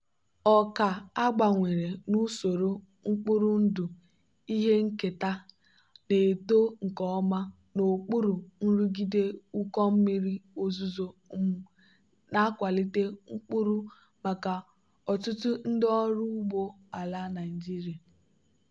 ọka a gbanwere n'usoro mkpụrụ ndụ ihe nketa na-eto nke ọma n'okpuru nrụgide ụkọ mmiri ozuzo um na-akwalite mkpụrụ maka ọtụtụ ndị ọrụ ugbo ala nigeria.